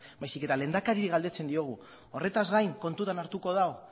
baizik eta lehendakariari galdetzen diogu horretaz gain kontutan hartuko du